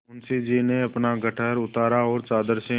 मुंशी जी ने अपना गट्ठर उतारा और चादर से